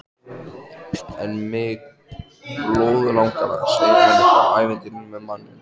En mig blóðlangar að segja henni frá ævintýrinu með manninum.